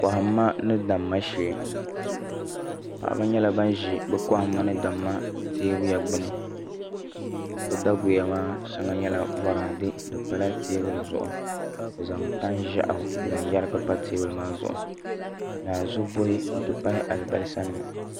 Kohamma ni damma shee paɣaba nyɛla ban ʒi bi kohamma teebuya gbuni bi daguya maa shɛŋa nyɛla boraadɛ di pala teebuya zuɣu bi zaŋ tani ʒiɛɣu n zaŋ yɛrigi pa teebuli maa zuɣu naanzu buhi n ti pahi alibarisa nima